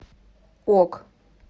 ок